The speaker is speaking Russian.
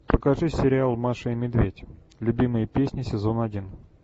покажи сериал маша и медведь любимые песни сезон один